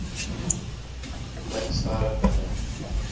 blink sterre binne